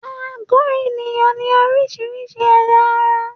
Àgó ènìyàn ní oríṣiríṣi ẹ̀yà-ara.